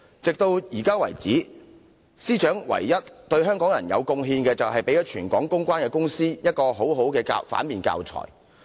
直至現時為止，司長對香港人的唯一貢獻，是為全港的公關公司提供了很好的反面教材。